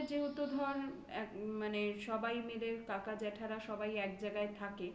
আমাদের যেহেতু ধর অ্য মানে সবাই কাকা জ্যেঠারা সবাই এক জায়গায় থাকে.